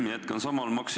Lugupeetud minister!